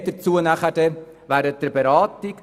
Mehr dazu erfahren Sie später während der Beratung.